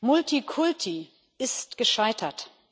Multikulti ist gescheitert.